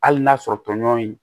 Hali n'a sɔrɔ tɔɲɔgɔn in